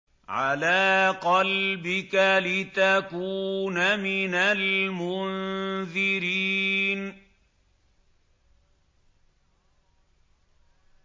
عَلَىٰ قَلْبِكَ لِتَكُونَ مِنَ الْمُنذِرِينَ